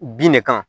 Bin de kan